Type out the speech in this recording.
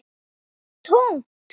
Það var tómt.